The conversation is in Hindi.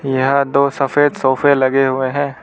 यहां दो सफेद सोफे लगे हुए है।